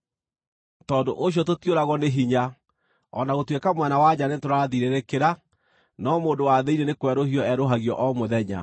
Tondũ ũcio tũtiũragwo nĩ hinya. O na gũtuĩka mwena wa nja nĩtũrathirĩrĩkĩra, no mũndũ wa thĩinĩ nĩ kwerũhio erũhagio o mũthenya.